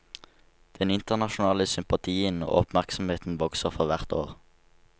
Den internasjonale sympatien og oppmerksomheten vokser for hvert år.